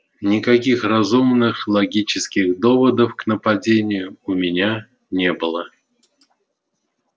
никаких разумных логических доводов к нападению у меня не было